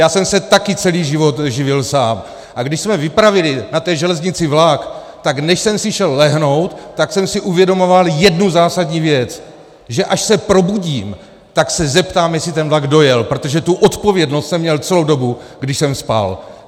Já jsem se také celý život živil sám, a když jsme vypravili na té železnici vlak, tak než jsem si šel lehnout, tak jsem si uvědomoval jednu zásadní věc, že až se probudím, tak se zeptám, jestli ten vlak dojel, protože tu odpovědnost jsem měl celou dobu, když jsem spal.